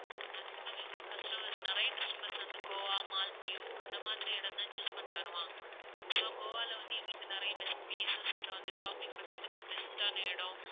maximum இங்க customers நிறைய customers வந்து கோவா, மாலத்தீவ், அந்த மாதிரி இடம் தான் choose பண்ணி வருவாங்க so கோவால வந்து எங்களுக்கு நிறைய best places அப்பறம் வந்து shopping பண்றதுக்கு best டான இடம்